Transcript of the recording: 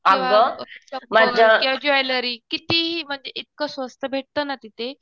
किंवा ज्वेलरी कितीही म्हणजे इतकं स्वस्त भेटतं ना तिथे